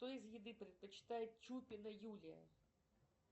что из еды предпочитает чупина юлия